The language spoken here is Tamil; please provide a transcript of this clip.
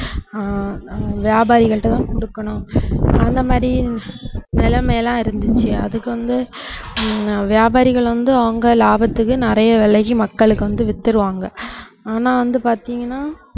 ஆஹ் வியாபாரிகள்ட்ட தான் கொடுக்கணும் அந்த மாதிரி நிலைமை எல்லாம் இருந்துச்சு அதுக்கு வந்து ஹம் வியாபாரிகள் வந்து அவங்க லாபத்துக்கு நிறைய விலைக்கு மக்களுக்கு வந்து வித்துடுவாங்க ஆனா வந்து பாத்தீங்கன்னா